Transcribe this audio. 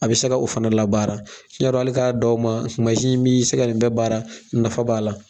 A bɛ se ka o fana la baara n y' dé kali k'a dan o ma mansin in b'i se ka nin bɛɛ baara nafa b'a la